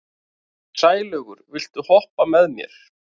Sælaugur, viltu hoppa með mér?